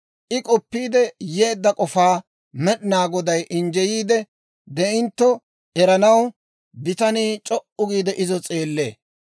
I k'oppiide yeedda k'ofaa Med'inaa Goday injjeyiidde de'intto eranaw bitanii c'o"u giide izo s'eellee.